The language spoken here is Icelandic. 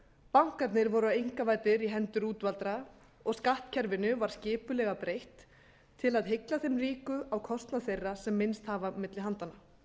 bankarnir voru einkavæddir í hendur útvaldra og skattkerfinu var skipulega breytt til að hygla eða ríku á kostnað þeirra sem minnst hafa milli handanna